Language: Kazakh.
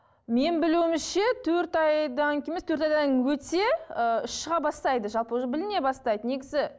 мен білуімше төрт айдан кейін емес төрт айдан өте ыыы іш шыға бастайды жалпы уже біліне бастайды негізі